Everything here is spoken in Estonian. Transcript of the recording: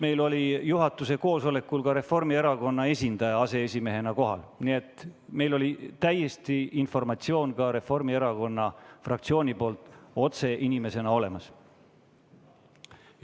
Meil oli juhatuse koosolekul ka Reformierakonna esindaja aseesimehena kohal, nii et meil oli informatsioon ka Reformierakonna fraktsioonilt otse inimese kaudu olemas.